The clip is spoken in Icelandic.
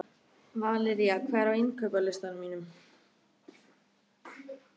Valería, hvað er á innkaupalistanum mínum?